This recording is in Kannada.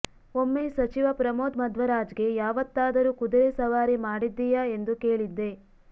ಒಮ್ಮೆ ಸಚಿವ ಪ್ರಮೋದ್ ಮಧ್ವರಾಜ್ಗೆ ಯಾವತ್ತಾದರೂ ಕುದುರೆ ಸವಾರಿ ಮಾಡಿದ್ದೀಯಾ ಎಂದು ಕೇಳಿದ್ದೆ